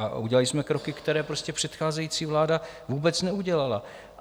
A udělali jsme kroky, které předcházející vláda vůbec neudělala.